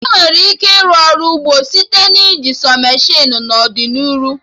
Emere ike ịrụ Ọrụ ugbo site na iji sọ meshịnụ n'ọdịnihu